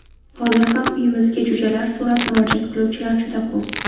Hozir ham uyimizga jo‘jalar so‘rab murojaat qiluvchilar juda ko‘p.